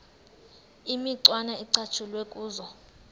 imicwana ecatshulwe kuzo